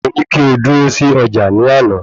Mo ní kí o dúró sí ọjà ní àná